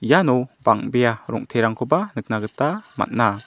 iano bang·bea rong·terangkoba nikna gita man·a.